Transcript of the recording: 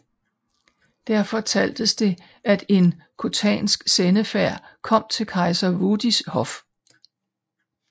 Der fortaltes det at en khotansk sendefærd kom til kejser Wudis hof